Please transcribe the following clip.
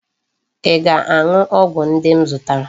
Ị ga-aṅụ ọgwụ ndị m zụtara.